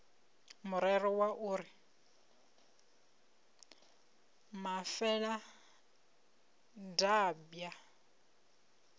murero wa u ri mafeladambwa